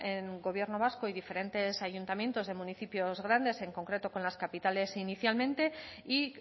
con el gobierno vasco y diferentes ayuntamientos de municipios grandes en concreto con las capitales inicialmente y